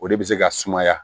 O de bɛ se ka sumaya